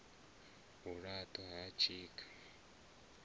u la ṱwa ha tshikha